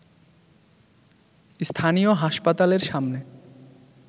স্থানীয় হাসপাতালের সামনে